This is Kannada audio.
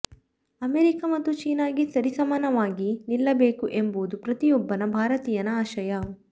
ಅಮೆರಿಕ ಮತ್ತು ಚೀನಾಗೆ ಸರಿಸಮಾನವಾಗಿ ನಿಲ್ಲಬೇಕು ಎಂಬುದು ಪ್ರತಿಯೊಬ್ಬನ ಭಾರತೀಯನ ಆಶಯ